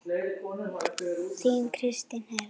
Þín Kristín Heiða.